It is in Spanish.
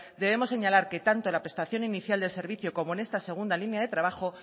debemos señalar que tanto la prestación inicial de servicio como en esta segunda línea de trabajo